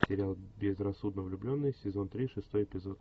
сериал безрассудно влюбленные сезон три шестой эпизод